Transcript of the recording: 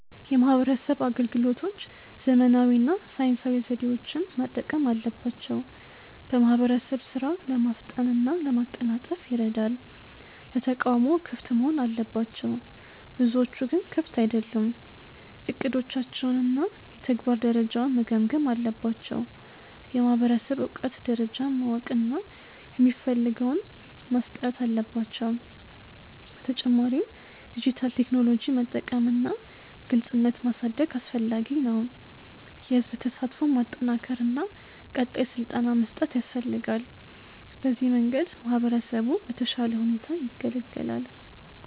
የማህበረሰብ አገልግሎቶች ዘመናዊ እና ሳይንሳዊ ዘዴዎችን መጠቀም አለባቸው። በማህበረሰብ ሥራ ለማፍጠን እና ለማቀላጠፍ ይረዳል። ለተቃውሞ ክፍት መሆን አለባቸው፤ ብዙዎቹ ግን ክፍት አይደሉም። እቅዶቻቸውን እና የተግባር ደረጃውን መገምገም አለባቸው። የማህበረሰብ እውቀት ደረጃን ማወቅ እና የሚፈልገውን መስጠት አለባቸው። በተጨማሪም ዲጂታል ቴክኖሎጂ መጠቀም እና ግልጽነት ማሳደግ አስፈላጊ ነው። የህዝብ ተሳትፎን ማጠናከር እና ቀጣይ ስልጠና መስጠት ያስፈልጋል። በዚህ መንገድ ማህበረሰቡ በተሻለ ሁኔታ ይገለገላል።